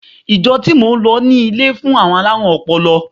Ìjọ tí mò ń lọ ní ilé fún àwọn alárùn ọpọlọ.